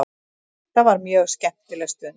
Þetta var mjög skemmtileg stund.